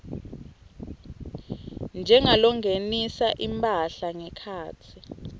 njengalongenisa imphahla ngekhatsi